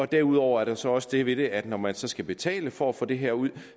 derudover er der så også det ved det at når man så skal betale for at få det her ud